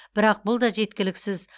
бірақ бұл да жеткіліксіз